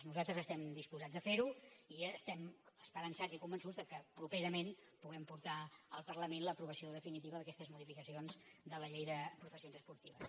nosal·tres estem disposats a fer·ho i estem esperançats i con·vençuts que properament podrem portar al parlament l’aprovació definitiva d’aquestes modificacions de la llei de professions esportives